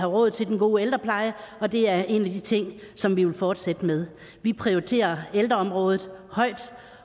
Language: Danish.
råd til den gode ældrepleje og det er en af de ting som vi vil fortsætte med vi prioriterer ældreområdet højt